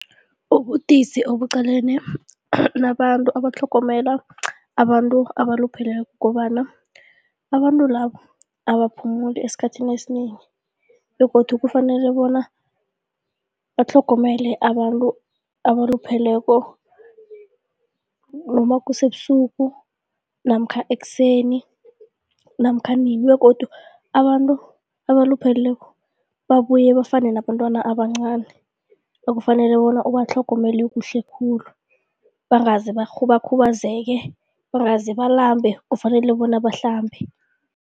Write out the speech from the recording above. Ubudisi obuqalene nabantu abatlhogomela abantu abalupheleko kukobana, abantu labo abaphumuli esikhathini esinengi begodu kufanele bona batlhogomele abantu abalupheleko noma kusebusuku namkha ekuseni namkha nini begodu abantu abalupheleko babuye bafane nabentwana abancani ekufanele bona ubatlhogomele kuhle khulu bangaze bakhubazeke, bangaze balambe kufanele bona bahlambe.